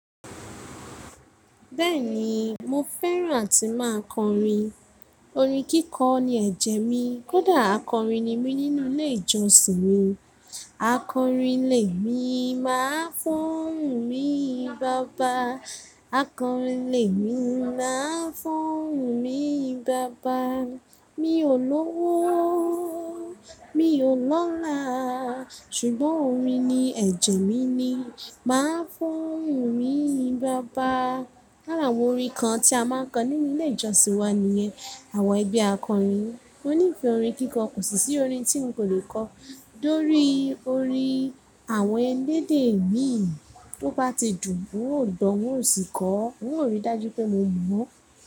Bẹ́ẹ̀ni mo fẹ́ràn àti máa kọrin. Orin kíkọ ní ẹ̀jẹ̀ mi. Kódà akọrin ni mí nínú ilé ìjọsìn mi. Akọrin ilé mi máa ń fún mi baba, akọrin ilé mi máa ń fún mi baba. Mi ò lọ́wọ́, mi ò lọ́lá. Ṣùgbọ́n orin ní ẹ̀jẹ̀ mi ni. Máa ń foún mi yin baba. Haa àwọn orin kan tí a máa ń kọ nínú ilé ìjọsìn wa ni yẹn. Àwọn ẹgbẹ́ akọrin. Mò ní ìfẹ́ orin kíkọ kò sì sí orin tí n kò lè kọ. Lórí orin àwọn ẹ̀lẹ́dẹ̀ mi, tó bá ti dùn bú òdò ń ò sì kọ. N ó rí dájú pé mo mọ̀ ọ́n.